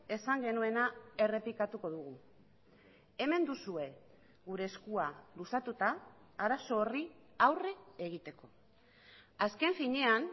esan genuena errepikatuko dugu hemen duzue gure eskua luzatuta arazo horri aurre egiteko azken finean